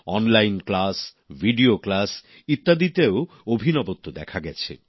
online class video class ইত্যাদিতেও অভিনবত্ব দেখা গেছে